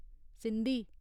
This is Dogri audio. सिंधी